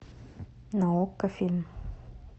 на окко фильм